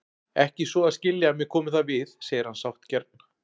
Ekki svo að skilja að mér komi það við, segir hann sáttgjarn.